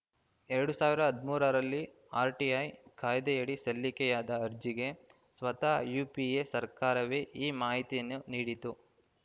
ಎರಡು ಸಾವಿರ ಹದಿಮೂರರಲ್ಲಿ ಆರ್‌ಟಿಐ ಕಾಯ್ದೆಯಡಿ ಸಲ್ಲಿಕೆಯಾದ ಅರ್ಜಿಗೆ ಸ್ವತಃ ಯುಪಿಎ ಸರ್ಕಾರವೇ ಈ ಮಾಹಿತಿಯನ್ನು ನೀಡಿತ್ತು